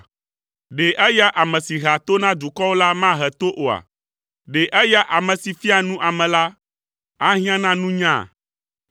Ɖe eya ame si hea to na dukɔwo la mahe to oa? Ɖe eya ame si fiaa nu ame la, ahiã na nunya?